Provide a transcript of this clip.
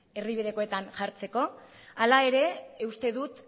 erdibidekoetan jartzeko hala ere uste dut